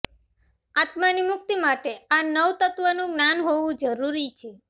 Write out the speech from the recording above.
આત્માની મુક્તિ માટૅ આ નવતત્વનું જ્ઞાન હોવું જરૂરી છે